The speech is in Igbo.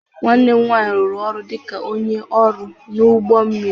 Nwanne m nwanyị rụrụ ọrụ dị ka onye ọrụ n'ụgbọ mmiri